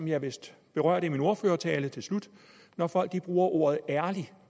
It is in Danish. jeg vist berørte i min ordførertale til slut når folk bruger ordet ærlig